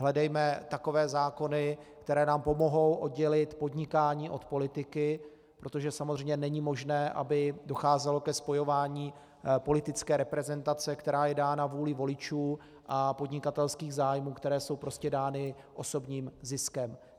Hledejme takové zákony, které nám pomohou oddělit podnikání od politiky, protože samozřejmě není možné, aby docházelo ke spojování politické reprezentace, která je dána vůlí voličů, a podnikatelských zájmů, které jsou prostě dány osobním ziskem.